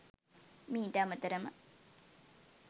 මීට අමතරම